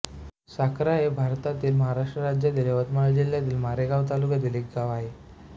साखरा हे भारतातील महाराष्ट्र राज्यातील यवतमाळ जिल्ह्यातील मारेगांव तालुक्यातील एक गाव आहे